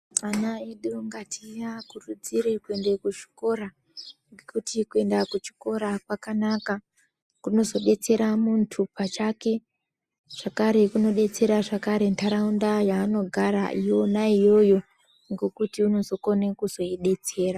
Ana edu ngatiakúrudzire kuenda kuzvikora nekuti kuenda kúchikora kwakanaka kunozodetserà muntu pachake zvakare kunodetsera zvakare ntarauñdà yaanogara iyona iyoyo ngékuti únokóne kuzoidetsera.